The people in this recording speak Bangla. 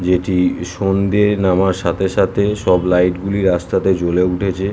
এটি সন্ধ্যে নামার সাথে সাথে স ব লাইট গুলি জ্বলে উঠেছে।